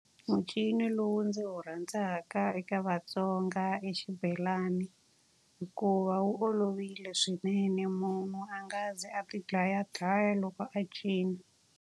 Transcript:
muncino lowu ndzi wu rhandzaka eka vaTsonga i xibelani hikuva wu olovile swinene. Munhu a nga ze a ti dlayadlaya loko a cina.